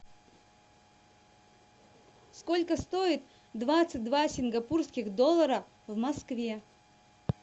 сколько стоит двадцать два сингапурских доллара в москве